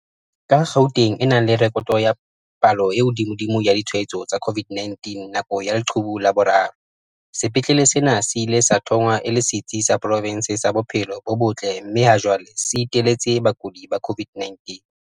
Ka Gauteng e nang le rekoto ya palo e hodimodimo ya ditshwa etso tsa COVID-19 nako ya leqhubu la boraro, sepetlele sena se ile sa thongwa e le setsi sa profense sa bophelo bo botle mme ha jwale se iteletse bakudi ba COVID-19.